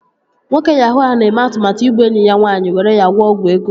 Nwoke yahuu ahụ na-eme atụmatụ igbu enyi ya nwaanyị were gwọọ ọgwụ ego